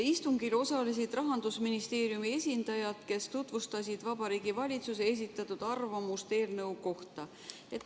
Istungil osalesid Rahandusministeeriumi esindajad, kes tutvustasid Vabariigi Valitsuse esitatud arvamust eelnõu kohta.